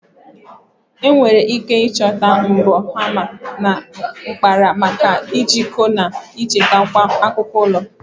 Enwere ike ịchọta mbọ, hama, na mkpara maka ijikọ na ichekwa akụkụ ụlọ.